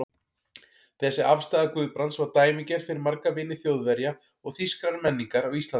Þessi afstaða Guðbrands var dæmigerð fyrir marga vini Þjóðverja og þýskrar menningar á Íslandi.